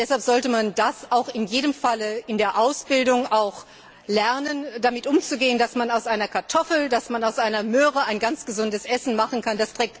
Deshalb sollte man in jedem Fall in der Ausbildung auch lernen, damit umzugehen, dass man aus einer Kartoffel, dass man aus einer Möhre ein ganz gesundes Essen machen kann.